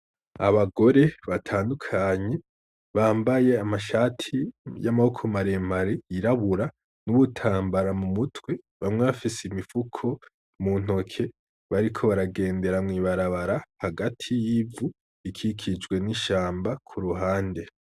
Abagore batandukanye bambaye amashati y'amaboko maremare yirabura n'ibitambara mu mutwe bamwe bafise imifuko muntoki bariko baragenda mwibarabara ry'ivu rikikijwe n'ishamba.